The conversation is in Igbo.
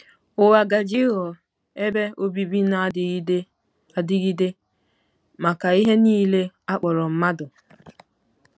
Ụwa gaje ịghọ ebe obibi na-adịgide adịgide maka ihe nile a kpọrọ mmadụ.